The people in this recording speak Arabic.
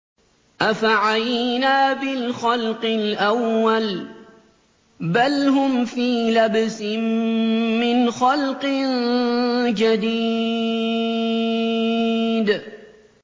أَفَعَيِينَا بِالْخَلْقِ الْأَوَّلِ ۚ بَلْ هُمْ فِي لَبْسٍ مِّنْ خَلْقٍ جَدِيدٍ